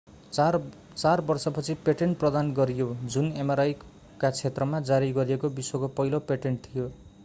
चार वर्षपछि पेटेन्ट प्रदान गरियो जुन mri का क्षेत्रमा जारी गरिएको विश्वको पहिलो पेटेन्ट थियो